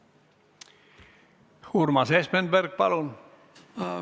Urmas Espenberg, palun!